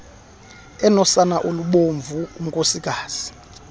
enosana olubomvu unkosikazi